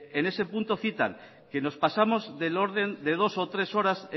en ese punto citan que nos pasamos del orden de dos o tres horas